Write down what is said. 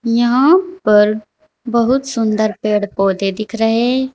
यहां पर बहुत सुन्दर पेड़ पौधे दिख रहे।